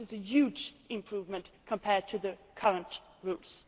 This is a huge improvement compared to the current rules.